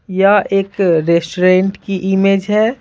यह एक रेस्टोरेंट की इमेज है।